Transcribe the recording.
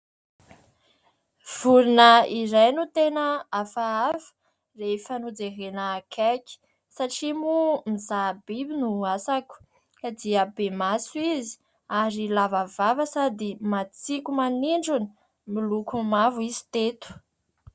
Toeram-pisakafoanana iray, efa nataony ao anaty fafana ny sakafo misy rehefa tsy mahamasaka hanina tokoa ianao dia isan'ny mahavonjy amin'ny sarotra ny fankanesana any amin'itony toeram-pisakafoanana itony.